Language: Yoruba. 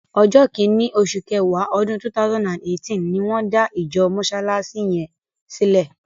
Ọjọ́ kìíní, osù kẹwàá, ọdún 2018 ni wọ́n dá ìjọ Mọsálásí yẹn sílẹ.